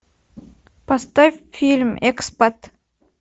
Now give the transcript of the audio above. поставь фильм экспат